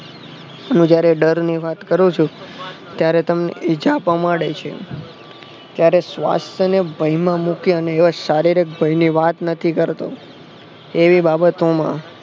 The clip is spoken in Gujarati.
હું જયારે ડરની વાત કરું છુ ત્યારે તમને ઈજાપા માંડે છે ત્યારે સ્વાસ્થને ભયમાં મૂકી અને યશ શારીરિક ભયની વાત નથી કરતો એવી બાબતોમાં